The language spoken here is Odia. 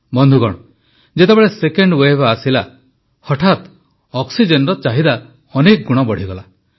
ବନ୍ଧୁଗଣ ଯେତେବେଳେ ସେକେଣ୍ଡ ୱେଭ୍ ଆସିଲା ହଠାତ୍ ଅକ୍ସିଜେନର ଚାହିଦା ଅନେକ ଗୁଣ ବଢ଼ିଗଲା